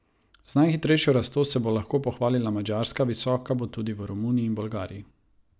Z najhitrejšo rastjo se bo lahko pohvalila Madžarska, visoka bo tudi v Romuniji in Bolgariji.